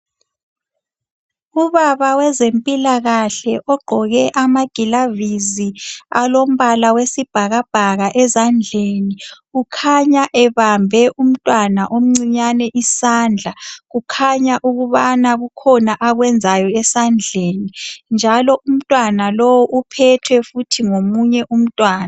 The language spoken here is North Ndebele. Ubaba wezempilakahle ogqoke amagilavisi alombala wesibhakabhaka ezandleni, kukhanya ebambe umntwana omncinyane isandla. Kukhanya ukubana kukhona akwenzayo esandleni, njalo umntwana lowu uphethwe futhi ngomunye umntwana.